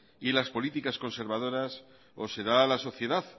y las políticas conservadoras o se da a la sociedad